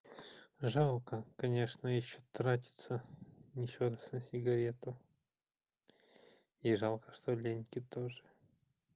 жалко конечно ещё тратится ещё раз на сигарету и жалко что лёньке тоже